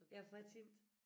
Ja for jeg tænkte